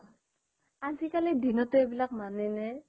আজি কালি দিনটো এইবিলাক মানেনে